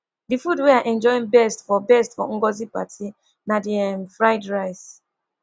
the food wey i enjoy best for best for ngozi party na the um fried rice